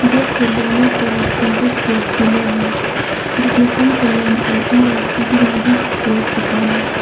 Gate के दोनों तरफ कांक्रीट के पिलर है जिसमें कम टू लर्न और इ_एस_टी_डी नाइंटिन सिक्सटी एट लिखा है।